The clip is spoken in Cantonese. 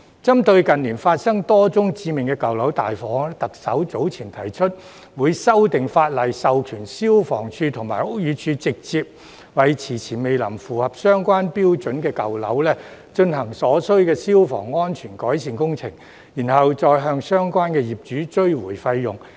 針對近年發生多宗致命舊樓大火，特首早前提出會修訂法例，授權消防處和屋宇署直接為遲遲未能符合相關標準的舊樓進行所需消防安全改善工程，然後再向相關業主追回費用。